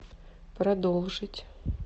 продолжить